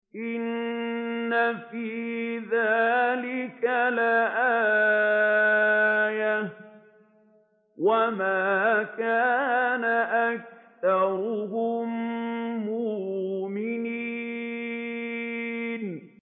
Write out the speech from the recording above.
إِنَّ فِي ذَٰلِكَ لَآيَةً ۖ وَمَا كَانَ أَكْثَرُهُم مُّؤْمِنِينَ